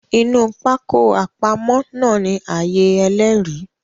Inu pákó àpamọ̀ náà ni ààyè Ẹlẹ́rìí